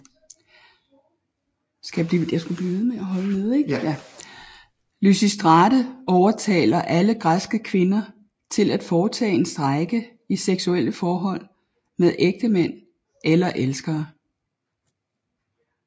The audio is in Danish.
Lysistrate overtaler alle græske kvinder til at foretage en strejke i sexuelle forhold med ægtemænd eller elskere